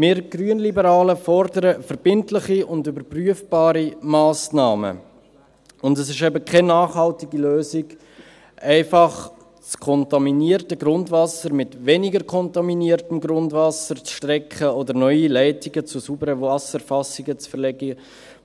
Wir Grünliberalen fordern verbindliche und überprüfbare Massnahmen, und es ist eben keine nachhaltige Lösung, einfach das kontaminierte Grundwasser mit weniger kontaminiertem Grundwasser zu strecken oder neue Leitungen zu sauberen Wasserfassungen zu verlegen,